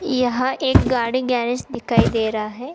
यहां एक गाड़ी गैरेज दिखाई दे रहा है।